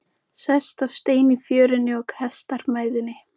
Sest á stein í fjörunni og kastar mæðinni.